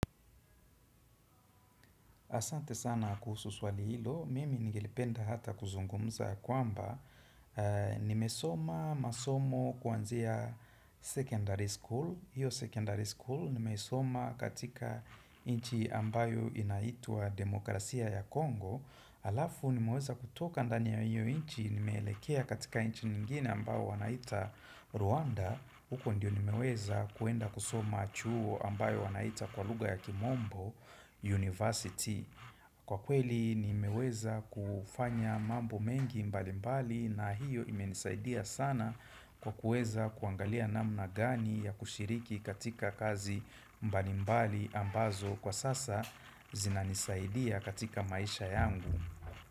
Asante sana kuhusu swali hilo, mimi ningelipenda hata kuzungumza kwamba Nimesoma masomo kwanzia sekondari school hiyo sekondari school nimesoma katika nchi ambayo inaitwa demokrasia ya Kongo Alafu nimeweza kutoka ndani ya hiyo nchi nimelekea katika nchi nyingine ambayo wanaita Rwanda huko ndiyo nimeweza kuenda kusoma chuo ambayo wanaita kwa lugha ya kimombo University. Kwa kweli nimeweza kufanya mambo mengi mbalimbali na hiyo imenisaidia sana kwa kuweza kuangalia namna gani ya kushiriki katika kazi mbalimbali ambazo kwa sasa zinanisaidia katika maisha yangu.